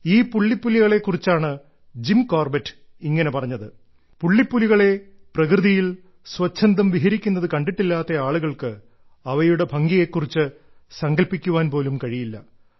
ഈ പുള്ളിപ്പുലികളേ കുറിച്ചാണ് ജിം കോർബറ്റ് ഇങ്ങനെ പറഞ്ഞത് പുള്ളിപ്പുലികളെ പ്രകൃതിയിൽ സ്വച്ഛന്ദം വിഹരിക്കുന്നത് കണ്ടിട്ടില്ലാത്ത ആളുകൾക്ക് അവയുടെ ഭംഗിയെ കുറിച്ച് സങ്കല്പ്പിക്കാൻ പോലും കഴിയില്ല